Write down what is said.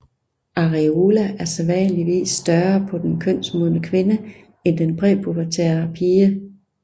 Areola er sædvanligvis større på den kønsmodne kvinde end den præpubertære pige